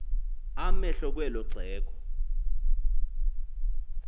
amehlo kwelo xhego